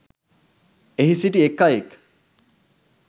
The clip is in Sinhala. එහි සිටි එක්‌ අයෙක්